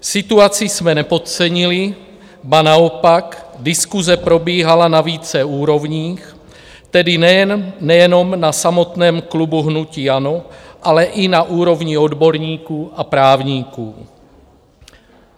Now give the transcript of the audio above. Situaci jsme nepodcenili, ba naopak diskuse probíhala na více úrovních, tedy nejenom na samotném klubu hnutí ANO, ale i na úrovni odborníků a právníků.